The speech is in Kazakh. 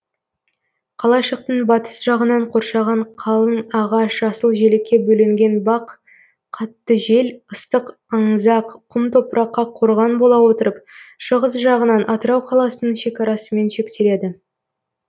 қалашықтың батыс жағынан қоршаған қалың ағаш жасыл желекке бөленген бақ қатты жел ыстық аңызақ құм топыракқа корған бола отырып шығыс жағынан атырау қаласының шекарасымен шектеледі